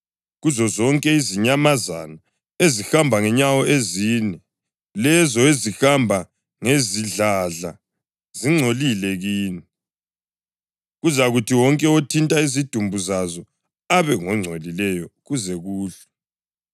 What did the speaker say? Kuzozonke izinyamazana ezihamba ngenyawo ezine, lezo ezihamba ngezidladla zingcolile kini; kuzakuthi wonke othinta izidumbu zazo abe ngongcolileyo kuze kuhlwe.